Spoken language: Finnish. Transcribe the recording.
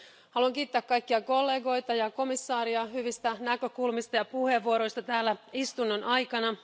Haluan kiittää kaikkia kollegoita ja komissaaria hyvistä näkökulmista ja puheenvuoroista täällä istunnon aikana.